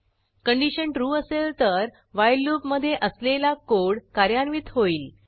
condition true असेल तर while loop मधे असलेला कोड कार्यान्वित होईल